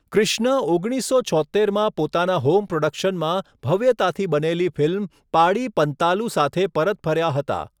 ક્રિષ્ના ઓગણીસસો છોત્તેરમાં પોતાના હોમ પ્રોડક્શનમાં ભવ્યતાથી બનેલી ફિલ્મ 'પાડી પન્તાલુ' સાથે પરત ફર્યા હતા.